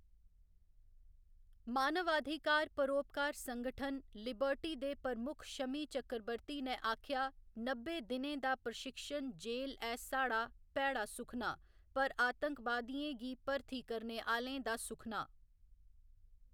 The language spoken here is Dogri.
मानवाधिकार परोपकार संगठन, लिबर्टी दे प्रमुख शमी चक्रवर्ती ने आखेआ नब्बे दिनें दा प्रशिक्षण जेल ऐ साढ़ा भैड़ा सुखना पर आतंकवादियें गी भर्थी करने आह्‌‌‌लें दा सुखना।